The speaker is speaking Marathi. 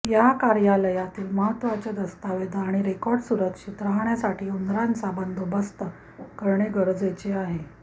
या कार्यालयातील महत्त्वाचे दस्तऐवज आणि रेकॉर्ड सुरक्षित राहण्यासाठी उंदराचा बंदोबस्त करणे गरजेचे आहे